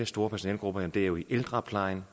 store personalegrupper det er jo i ældreplejen